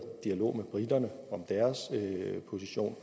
dialog med briterne om deres position